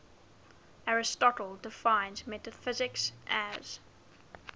aristotle defines metaphysics as